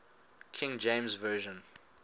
king james version